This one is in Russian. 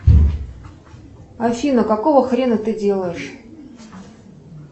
афина какого хрена ты делаешь